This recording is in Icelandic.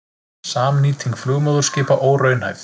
Samnýting flugmóðurskipa óraunhæf